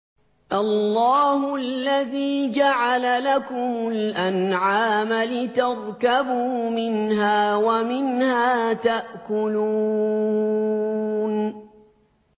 اللَّهُ الَّذِي جَعَلَ لَكُمُ الْأَنْعَامَ لِتَرْكَبُوا مِنْهَا وَمِنْهَا تَأْكُلُونَ